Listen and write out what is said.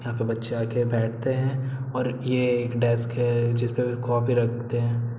यहाँ पे बच्चे आके बैठते हैं और ये एक डेस्क है जिसपे कॉपी रखते हैं।